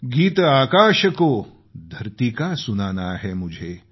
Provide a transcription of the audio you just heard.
गीत आकाश को धरती का सुनाना है मुझे